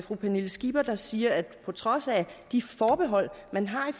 fru pernille skipper der siger at på trods af de forbehold man har